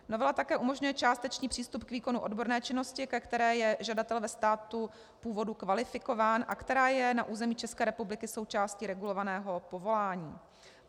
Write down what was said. Novela také umožňuje částečný přístup k výkonu odborné činnosti, ke které je žadatel ve státu původu kvalifikován a která je na území České republiky součástí regulovaného povolání.